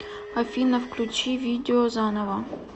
афина включи видео заново